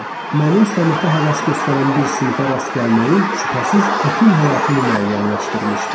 Mənim sənətə həvəs göstərən bir sinifə rast gəlməyim şübhəsiz bütün həyatımı müəyyənləşdirmişdi.